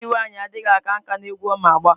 Agadi nwanyi adighi aka nka n'egwu Oma agba.